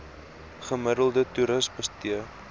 gemiddelde toeris bestee